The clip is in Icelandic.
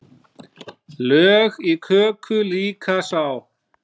Lög í köku líka sá.